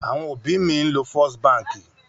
Àwọn òbí mi ń lo First Báńkì.